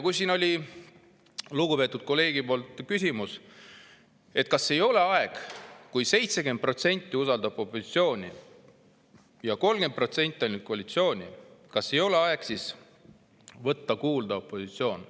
Siin oli lugupeetud kolleegil küsimus, et kui 70% usaldab opositsiooni ja ainult 30% koalitsiooni, kas siis ei ole aeg võtta kuulda opositsiooni.